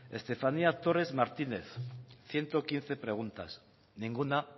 estefanía torres martínez ciento quince preguntas ninguna